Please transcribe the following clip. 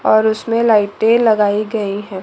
और उसमें लाइटें लगाई गई हैं।